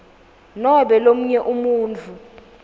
nobe lomunye umuntfu